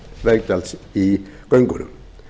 veggjalds í göngunum